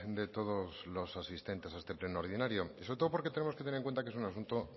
de todos los asistentes a este pleno ordinario y sobre todo porque tenemos que tener en cuenta que es un asunto